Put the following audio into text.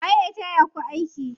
Waye ya taya ku aiki?